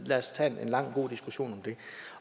lad os tage en lang god diskussion